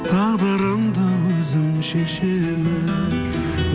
тағдырымды өзім шешемін